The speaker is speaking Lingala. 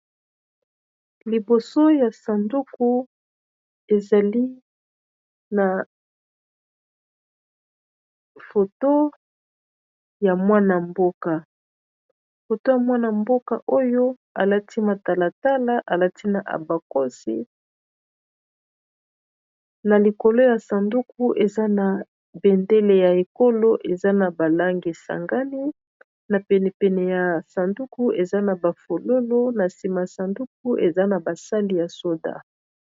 liboso ya sanduku ezali foto ya mwana mboka foto ya mwana-mboka oyo alati matalatala alati na abakosina likolo ya sanduku eza na bendele ya ekolo eza na balange sangani na penepene ya sanduku eza na bafololo na nsima ya sanduku eza na basali ya soda